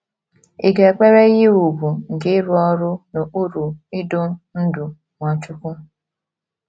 Ị̀ ga - ekwere ihe ùgwù nke ịrụ ọrụ n’okpuru idu ndú Nwachukwu?